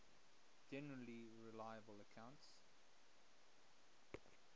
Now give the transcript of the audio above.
generally reliable accounts